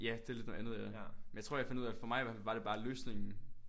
Ja det lidt noget andet ja. Men jeg tror jeg fandt ud af for mig i hert fald var det bare løsningen